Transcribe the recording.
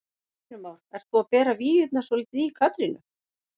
Heimir Már: Ert þú að bera víurnar svolítið í Katrínu?